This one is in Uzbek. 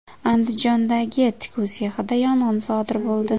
Andijondagi tikuv sexida yong‘in sodir bo‘ldi .